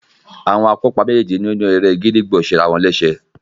Àwọn akópa méjéèjì nínú eré e gídígbò ṣe ara wọn léṣe.